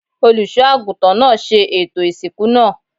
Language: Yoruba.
Olùṣọ́ àgùntàn náà ṣe ètò ìsìnkú náà.